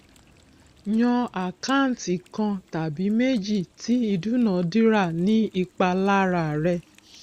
yan àkáǹtì kan tàbí méjì tí ìdúnadúrà ní ipa lára rẹ